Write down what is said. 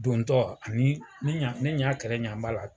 Dontɔ ani ne ɲa ɲa kɛrɛ ɲa b'a la